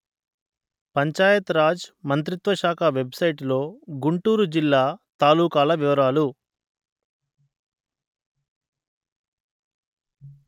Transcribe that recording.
పంచాయత్ రాజ్ మంత్రిత్వ శాఖ వెబ్‌సైటులో గుంటూరు జిల్లా తాలూకాల వివరాలు